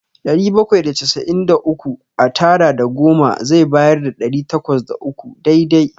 Ɗari bakwai da casa'in da uku a tara da goma zai bayar da ɗari takwas da uku dai-dai.